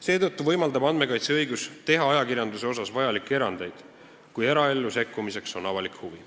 Seetõttu võimaldab andmekaitseõigus teha ajakirjanduse puhul vajalikke erandeid, kui eraellu sekkumiseks on avalik huvi.